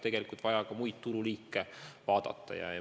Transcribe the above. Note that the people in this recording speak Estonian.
Vahest tuleks ka muid tululiike arvesse võtta?